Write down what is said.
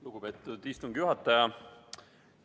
Lugupeetud istungi juhataja!